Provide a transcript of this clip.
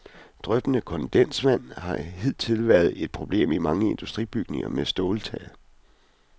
Dryppende kondensvand har hidtil været et problem i mange industribygninger med ståltag.